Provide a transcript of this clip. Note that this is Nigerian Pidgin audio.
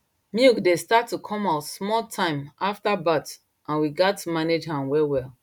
milk dey start to come out small time after birth and we gatz manage am well well